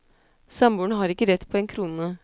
Samboeren har ikke rett på en krone.